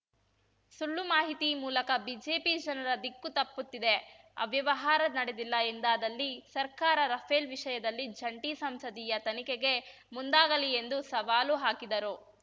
ಸುಳ್ಳು ಮಾಹಿತಿ ಮೂಲಕ ಬಿಜೆಪಿ ಜನರ ದಿಕ್ಕು ತಪ್ಪುತ್ತಿದೆ ಅವ್ಯವಹಾರ ನಡೆದಿಲ್ಲ ಎಂದಾದಲ್ಲಿ ಸರ್ಕಾರ ರಫೇಲ್‌ ವಿಷಯದಲ್ಲಿ ಜಂಟಿ ಸಂಸದೀಯ ತನಿಖೆಗೆ ಮುಂದಾಗಲಿ ಎಂದು ಸವಾಲು ಹಾಕಿದರು